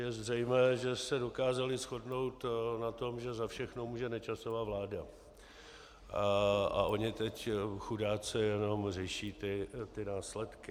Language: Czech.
Je zřejmé, že se dokázali shodnout na tom, že za všechno může Nečasova vláda a oni teď chudáci jenom řeší ty následky.